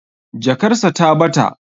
Jakar sa ta bata